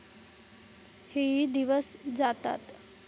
हेही दिवस जातात.